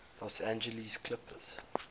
los angeles clippers